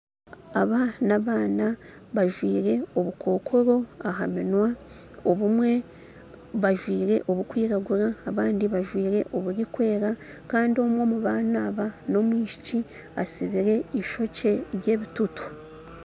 Aba n'abaana bajwaire obukookoro aha minwa obumwe bajwaire obukwiragura abandi bajwaire oburikwera kandi omwe omu baana aba n'omwisiki asibire eishokye ry'ebitutu